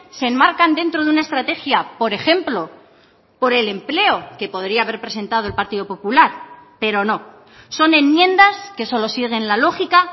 se enmarcan dentro de una estrategia por ejemplo por el empleo que podría haber presentado el partido popular pero no son enmiendas que solo siguen la lógica